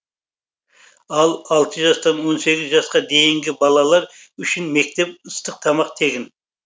ал алты жастан он сегіз жасқа дейінгі балалар үшін мектеп ыстық тамақ тегін